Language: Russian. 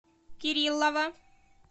кириллова